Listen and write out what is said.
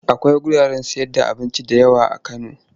Akwai wuraren sayarda abinci da yawa a Kano.